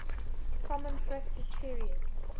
common practice period